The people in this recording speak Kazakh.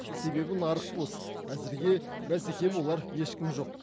себебі нарық бос әзірге бәсеке болар ешкім жоқ